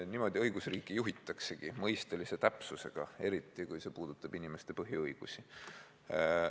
Niimoodi õigusriiki juhitaksegi, mõistelise täpsusega, eriti kui see puudutab inimeste põhiõigusi.